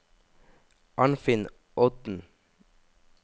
Arnfinn Odden